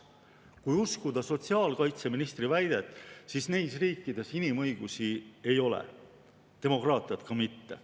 Kui uskuda sotsiaalkaitseministri väidet, siis neis riikides inimõigusi ei ole, demokraatiat ka mitte.